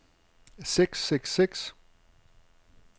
seks seks seks